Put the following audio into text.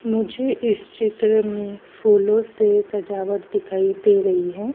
मुझे इस चित्र में फूलों से सजावट दिखाई दे रही हैं।